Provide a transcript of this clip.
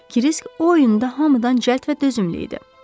Krisk o oyunda hamıdan cəld və dözümlü idi.